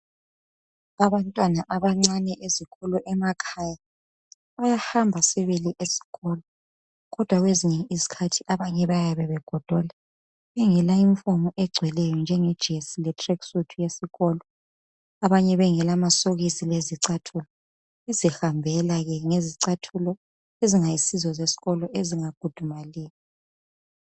Abantwana abancane ezikolo emakhaya bayahamba sibili esikolo kodwa kwesinye isikhathi abanye bayabe begodola bengelayunifomu egcweleyo njengejesi le tracksuit yesikolo. Abanye bengela amasokisi lezicathulo. Bezihambela ngezicathula ezingasizozesikolo ezingakhudumaliyo.